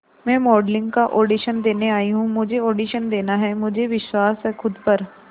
मैं मॉडलिंग का ऑडिशन देने आई हूं मुझे ऑडिशन देना है मुझे विश्वास है खुद पर